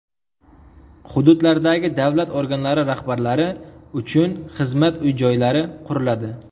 Hududlardagi davlat organlari rahbarlari uchun xizmat uy-joylari quriladi.